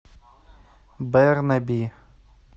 бернаби